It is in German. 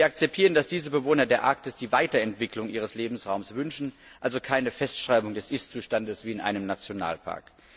Wir akzeptieren, dass diese Bewohner der Arktis die Weiterentwicklung ihres Lebensraums wünschen, also keine Festschreibung des Ist Zustandes wie in einem Nationalpark.